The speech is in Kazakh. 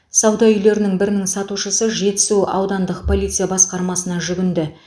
сауда үйлерінің бірінің сатушысы жетісу аудандық полиция басқармасына жүгінді